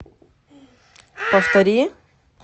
повтори